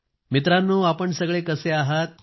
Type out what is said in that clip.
मित्रांनो आपण सगळे कसे आहात